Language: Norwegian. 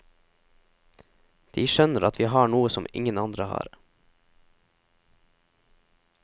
De skjønner at vi har noe som ingen andre har.